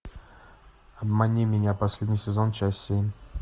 обмани меня последний сезон часть семь